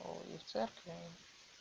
о и в церкви